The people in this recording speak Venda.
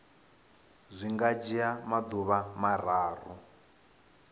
zwi nga dzhia maḓuvha mararu